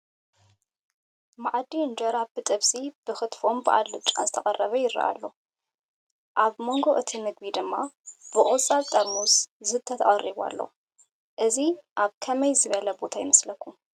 ማኣዲ እንጀራ ብጥብሲ፣ ብክትፎን ብኣልጫን ዝተቐረበ ይረአ ኣሎ፡፡ ኣብ ጎኒ እቲ ምግቢ ድማ ብቆፃል ጥርሙዝ ዝስተ ተቐሪቡ ኣሎ፡፡ እዚ ኣብ ከመይ ዝበለ ቦታ ይመስለኩም?